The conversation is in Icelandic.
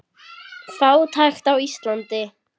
Fátækt á Íslandi